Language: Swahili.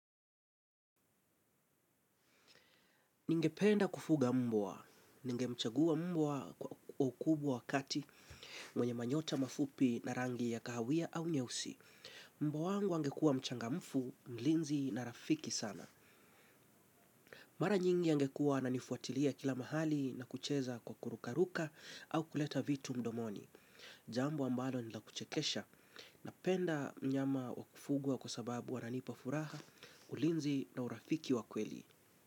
Ningependa kufuga mbwa, ningemchagua mbwa kwa ukubwa wakati mwenye manyota mafupi na rangi ya kahawia au nyeusi. Mbwa wangu angekuwa mchangamfu, mlinzi na rafiki sana. Mara nyingi angekuwa ananifuatilia kila mahali na kucheza kwa kurukaruka au kuleta vitu mdomoni. Jambo ambalo ni la kuchekesha, napenda mnyama wa kufugua kwa sababu wananipa furaha, ulinzi na urafiki wa kweli.